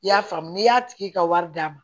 I y'a faamu n'i y'a tigi ka wari d'a ma